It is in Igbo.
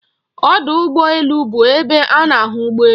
Ọdọ ụgbọ elu bụ ebe a na-ahụ ụgbọ elu.